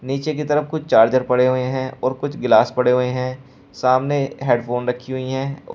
पीछे की तरफ कुछ चार्जर पड़े हुए हैं और कुछ गिलास पड़े हुए हैं सामने हेडफोन रखी हुईं हैं।